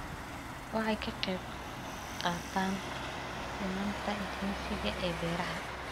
Waxay ka qayb qaataan sinnaanta jinsiga ee beeraha.